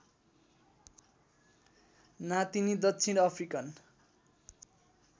नातिनी दक्षिण अफ्रिकन